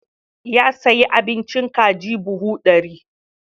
Ya sayi abincin kaji buhu ɗari.